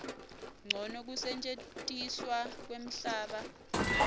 ncono kusetjentiswa kwemhlaba